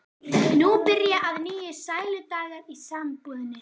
Nú byrja að nýju sæludagar í sambúðinni.